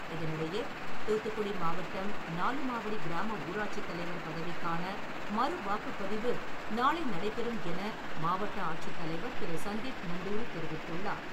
இதனிடையே, தூத்துக்குடி மாவட்டம், நாலுமாவடி கிராம ஊராட்சி தலைவர் பதவிக்கான மறுவாக்குப்பதிவு நாளை நடைபெறும் என மாவட்ட ஆட்சித்தலைவர் திரு. சந்தீப் நந்தூரி தெரிவித்துள்ளார்.